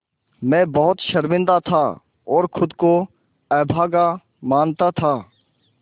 मैं बहुत शर्मिंदा था और ख़ुद को अभागा मानता था